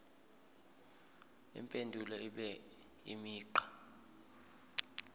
impendulo ibe imigqa